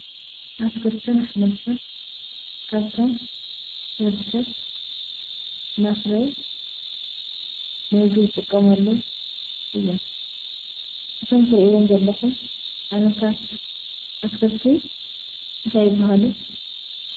ኣትክልትን ኣሕምልትን ካብቶም ንወድሰብ ንምግቢ ዝውዕሉ እዮም። ሰሞም እንታይ ይበሃሉ?